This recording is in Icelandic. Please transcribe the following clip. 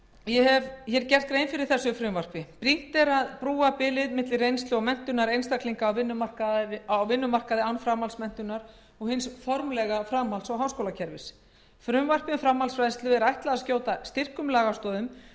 ég hef hér gert grein fyrir þessu frumvarpi brýnt er að brúa bilið milli reynslu og menntunar einstaklinga á vinnumarkaði án framhaldsmenntunar og hins formlega framhalds og háskólakólakerfis frumvarpi um framhaldsfræðslu er ætlað að skjóta styrkum lagastoðum